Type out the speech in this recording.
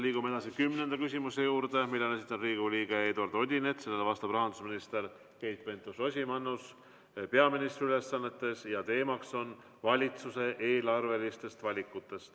Liigume edasi kümnenda küsimuse juurde, mille on esitanud Riigikogu liige Eduard Odinets, sellele vastab rahandusminister Keit Pentus-Rosimannus peaministri ülesannetes ja teema on valitsuse eelarvelised valikud.